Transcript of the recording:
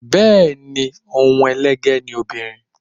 Bẹẹni, ohun elege ni obìnrin.